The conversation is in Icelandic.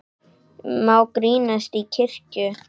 Má grínast í kirkju?